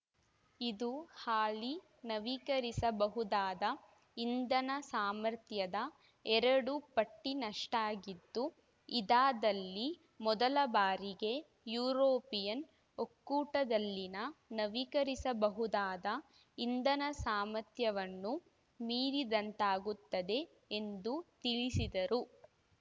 ಇದು ಹಾಲಿ ನವೀಕರಿಸಬಹುದಾದ ಇಂಧನ ಸಾಮರ್ಥ್ಯದ ಎರಡು ಪಟ್ಟಿನಷ್ಟಾಗಿದ್ದು ಇದಾದಲ್ಲಿ ಮೊದಲ ಬಾರಿಗೆ ಯುರೋಪಿಯನ್‌ ಒಕ್ಕೂಟದಲ್ಲಿನ ನವೀಕರಿಸಬಹುದಾದ ಇಂಧನ ಸಾಮಥ್ಯವನ್ನು ಮೀರಿದಂತಾಗುತ್ತದೆ ಎಂದು ತಿಳಿಸಿದರು